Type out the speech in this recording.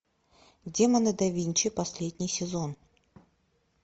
демоны да винчи последний сезон